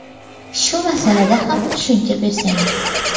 Shu masalada ham tushuncha bersangiz.